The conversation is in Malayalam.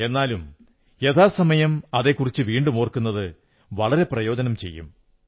എന്നാലും യഥാസമയം അതെക്കുറിച്ച് വീണ്ടുമോർക്കുന്നത് വളരെ പ്രയോജനം ചെയ്യും